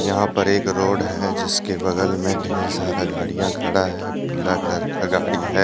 यहां पर एक रोड है जिसके बगल में ढेर सारा गाड़ियां खड़ा है पीला कलर का गाड़ी है।